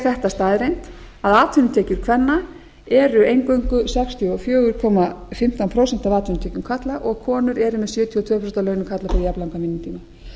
þetta staðreynd að atvinnutekjur kvenna eru eingöngu sextíu og fjögur komma fimmtán prósent af atvinnutekjum karla og konur eru með sjötíu og tvö prósent af launum karla fyrir jafnlangan vinnutíma